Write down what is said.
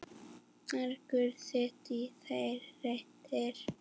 Margur sitt í reiði reitir.